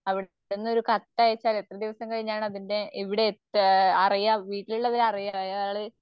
അവിടുന്ന് ഒരു കത്തയച്ചാൽ എത്ര ദിവസം കഴിഞ്ഞാണ് അതിൻറെ ഇവിടെ എത്തുകാഹ് അറിയാം വീട്ടിലുള്ളവര് അറിയ അയാള്